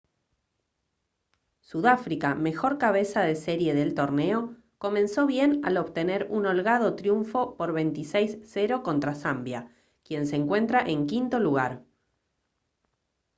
sudáfrica mejor cabeza de serie del torneo comenzó bien al obtener un holgado triunfo por 26-0 contra zambia quien se encuentra en quinto lugar